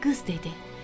Qız dedi: